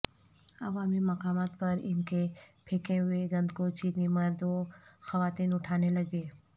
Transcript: عوامی مقامات پر ان کے پھینکے ہوئے گند کو چینی مرد و خواتین اٹھانے لگے